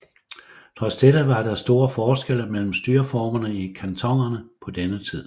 Trods dette var der store forskelle mellem styreformerne i kantonerne på denne tid